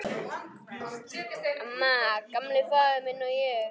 Amma, Gamli faðir minn, og ég.